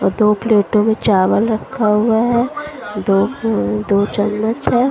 Cut-off लेते हुए चावल रखा हुआ है दो उ दो चम्मच है।